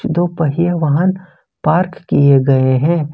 दो पहिया वाहन पार्क किए गए हैं।